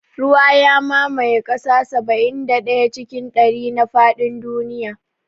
Ruwa ya mamaye kaso saba'in da ɗaya cikin ɗari na faɗin duniya